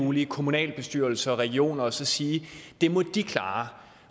mulige kommunalbestyrelser og regioner og så sige at det må de klare